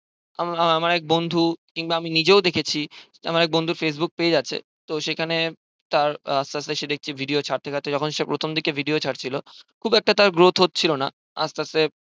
আমার এক বন্ধু কিংবা আমি নিজেও দেখেছি আমার এক বন্ধুর facebook page আছে তো সেখানে তার আস্তে আস্তে সেটাই video ছাড়তে ছাড়তে যখন সে প্রথম দিকে video ছাড়ছিল খুব একটা growth হচ্ছিলোনা আস্তে আস্তে